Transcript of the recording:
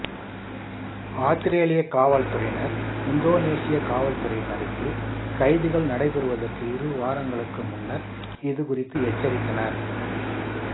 ஆத்திரேலியக் காவல்துறையினர் இந்தோனேசியக் காவல்துறையினருக்கு கைதுகள் நடைபெறுவதற்கு இரு வாரங்களுக்கு முன்னர் இது குறித்து எச்சரித்தனர்